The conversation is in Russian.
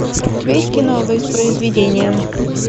у тебя есть кино воспроизведение